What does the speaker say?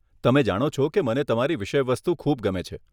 તમે જાણો છો કે મને તમારી વિષયવસ્તુ ખૂબ ગમે છે.